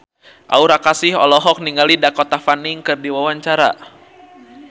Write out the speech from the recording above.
Aura Kasih olohok ningali Dakota Fanning keur diwawancara